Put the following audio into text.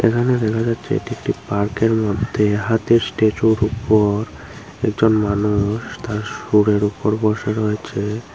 এখানে দেখা যাচ্ছে এটি একটি পার্কের মধ্যে হাতির স্ট্যাচুর উপর একজন মানুষ তার সুরের উপর বসে রয়েছে।